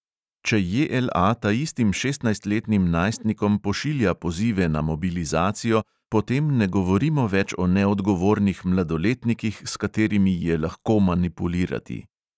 Če JLA taistim šestnajstletnim najstnikom pošilja pozive na mobilizacijo, potem ne govorimo več o neodgovornih mladoletnikih, s katerimi je lahko manipulirati.